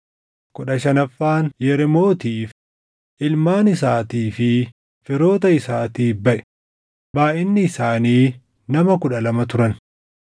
kudha shanaffaan Yereemootiif, // ilmaan isaatii fi firoota isaatiif baʼe; // baayʼinni isaanii nama kudha lama turan